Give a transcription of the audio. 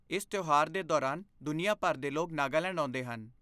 ਇਸ ਤਿਉਹਾਰ ਦੇ ਦੌਰਾਨ ਦੁਨੀਆ ਭਰ ਦੇ ਲੋਕ ਨਾਗਾਲੈਂਡ ਆਉਂਦੇ ਹਨ।